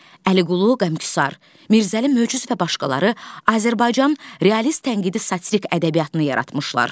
Əliqulu Qəmküsar, Mirzəli Möcüz və başqaları Azərbaycan realist tənqidi satirik ədəbiyyatını yaratmışlar.